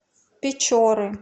печоры